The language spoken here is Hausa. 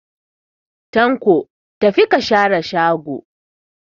Tanko, tafi ka share shago